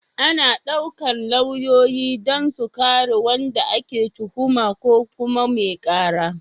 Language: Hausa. Ana ɗaukar lauyoyi don su kare wanda ake tuhuma ko kuma mai ƙara.